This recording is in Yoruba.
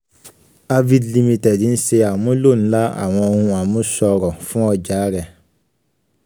arvind ltd ń ṣe àmúlò ńlá àwọn ohun àmúṣọrọ̀ fún ọjà rẹ̀.